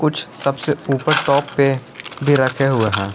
कुछ सबसे ऊपर टॉप पे भी रखे हुए हैं।